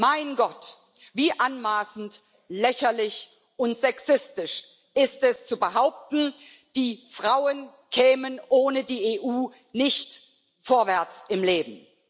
Mein Gott wie anmaßend, lächerlich und sexistisch ist es, zu behaupten, die Frauen kämen ohne die EU nicht vorwärts im Leben!